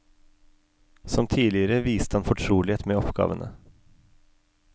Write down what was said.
Som tidligere viste han fortrolighet med oppgavene.